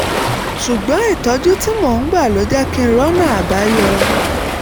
ṣùgbọ́n ìtọ́jú tí mò ń gbà ló jẹ́ kí n rọ́nà àbáyọ